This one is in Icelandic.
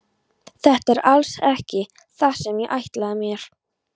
Þetta er alls ekki það sem ég ætlaði mér.